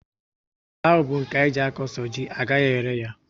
Àlà áhù bu nke anyị jee a kọ so ji, agaghị ere ya